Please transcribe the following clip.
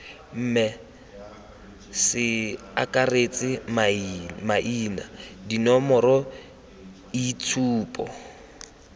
mme ce akaretse maina dinomoroitshupo